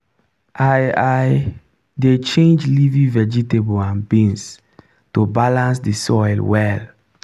i i dey change leafy vegetable and beans to balance the soil well.